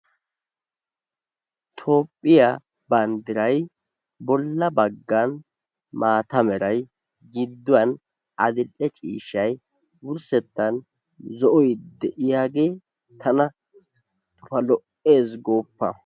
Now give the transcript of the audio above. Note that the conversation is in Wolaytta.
Toophphiya banddiray bollaa baggan maataa meray giduwan adil"e ciishshay wurssettaan zo"oy de'iyagee tana lo'ees gooppa.